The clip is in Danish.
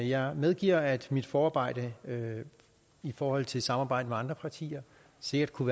jeg medgiver at mit forarbejde i forhold til samarbejdet med andre partier sikkert kunne